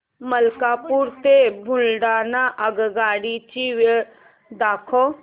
मलकापूर ते बुलढाणा आगगाडी ची वेळ दाखव